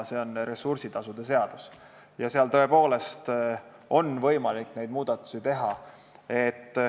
See on ressursitasusid käsitlev seadus ja seal on tõepoolest võimalik neid muudatusi teha.